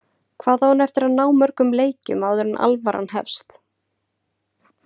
Hvað á hann eftir að ná mörgum leikjum áður en alvaran hefst?